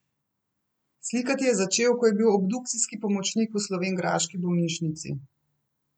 Slikati je začel, ko je bil obdukcijski pomočnik v slovenjgraški bolnišnici.